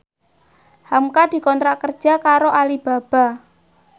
hamka dikontrak kerja karo Alibaba